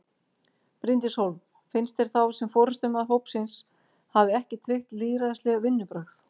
Bryndís Hólm: Finnst þér þá sem forystumaður hópsins hafi ekki tryggt lýðræðisleg vinnubrögð?